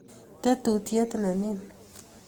tetutiet ne nin